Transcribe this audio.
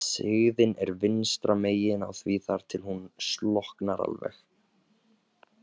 Sigðin er vinstra megin á því þar til hún slokknar alveg.